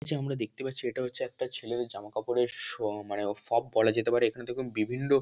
নিচে আমরা দেখতে পাচ্ছি এটা হচ্ছে একটা ছেলেদের জামা কাপড়ের শ মানে শপ বলা যেতে পারে এখানে দেখুন বিভিন্ন --